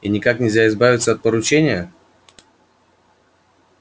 и никак нельзя избавиться от поручения